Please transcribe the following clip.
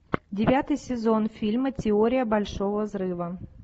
девятый сезон фильма теория большого взрыва